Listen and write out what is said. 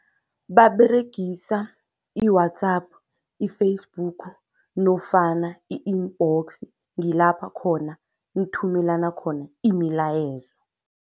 Baberegisa i-WhatsApp, i-Facebook nofana i-inbox. Ngilapha khona nithumelana khona imilayezo.